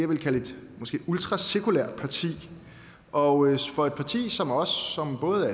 vil kalde et ultrasekulært parti og for et parti som os som både